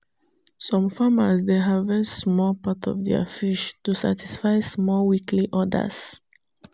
some farmers dey harvest small part of their fish to satisfy small weekly orders.